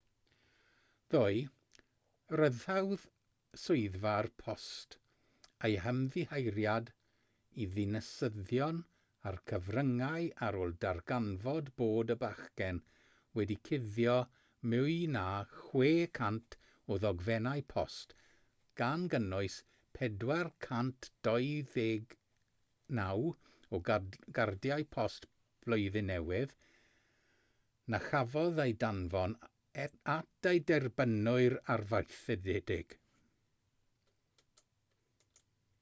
ddoe rhyddhaodd swyddfa'r post eu hymddiheuriad i ddinasyddion a'r cyfryngau ar ôl darganfod bod y bachgen wedi cuddio mwy na 600 o ddogfennau post gan gynnwys 429 o gardiau post blwyddyn newydd na chafodd eu danfon at eu derbynwyr arfaethedig